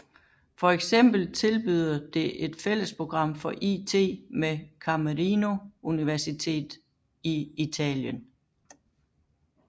For eksempel tilbyder det et fællesprogram for it med Camerino Univeritet i Italien